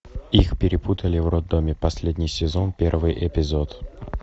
их перепутали в роддоме последний сезон первый эпизод